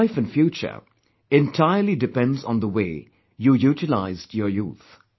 Your life & future entirely depends on the way your utilized your youth